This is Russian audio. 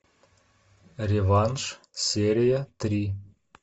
реванш серия три